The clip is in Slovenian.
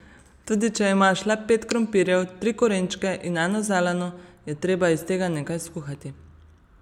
Tudi če imaš le pet krompirjev, tri korenčke in eno zeleno, je treba iz tega nekaj skuhati.